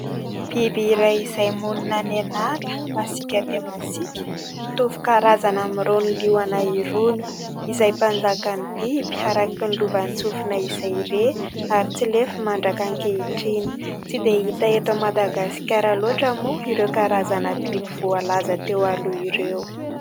Biby iray izay monina any an'ala, masiaka dia masiaka, mitovy karazany amin'irony liona irony izay mpanjakan'ny biby araka ny lovantsofina izay re ary tsy lefy mandrak'ankehitriny. Tsy dia hita eto Madagasikara loatra moa ireo karazana biby voalaza teo aloha ireo.